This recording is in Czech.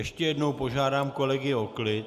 Ještě jednou požádám kolegy o klid.